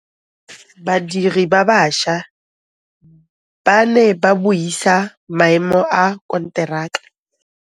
Badiri ba baša ba ne ba buisa maêmô a konteraka.